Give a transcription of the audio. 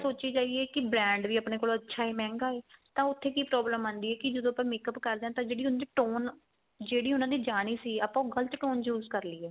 ਸੋਚੀ ਜਾਈਏ ਕੀ brand ਵੀ ਆਪਣੇ ਕੋਲ ਅੱਛਾ ਏ ਮਹਿੰਗਾ ਏ ਤਾਂ ਉੱਥੇ ਕੀ problem ਆਂਦੀ ਏ ਕੀ ਜਦੋ ਆਪਾਂ makeup ਕਰਦੇ ਆ ਤਾਂ ਜਿਹੜੀ ਉਸ ਚ tone ਜਿਹੜੀ ਉਹਨਾ ਨੇ ਜਾਣੀ ਸੀ ਆਪਾਂ ਉਹ ਗਲਤ tone choose ਕ਼ਰ ਲਈਏ